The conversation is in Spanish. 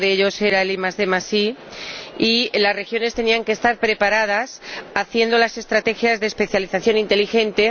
Uno de ellos era el IDI, y las regiones tenían que estar preparadas haciendo las estrategias de especialización inteligente.